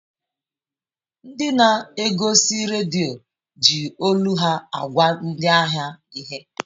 Ndị na-egosi redio ji olu ha agwa ndị ahịa ihe.